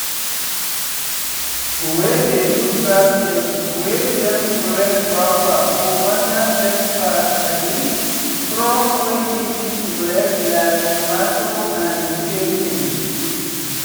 we dey use basket wey dem spread wrapper for under take pack um crop wey easy to break like tomato and pepper.